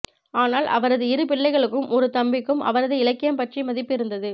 ஆனால் அவரது இரு பிள்ளைகளுக்கும் ஒரு தம்பிக்கும் அவரது இலக்கியம் பற்றி மதிப்பு இருந்தது